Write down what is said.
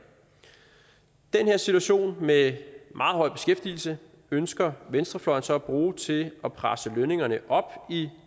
den her situation med meget høj beskæftigelse ønsker venstrefløjen så at bruge til at presse lønningerne i